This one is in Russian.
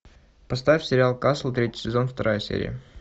поставь сериал касл третий сезон вторая серия